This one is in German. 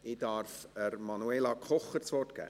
Ich darf Manuela Kocher das Wort geben.